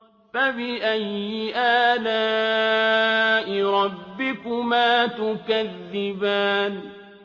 فَبِأَيِّ آلَاءِ رَبِّكُمَا تُكَذِّبَانِ